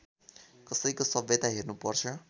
कसैको सभ्यता हेर्नुपर्छ